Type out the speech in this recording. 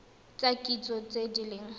tsa kitso tse di leng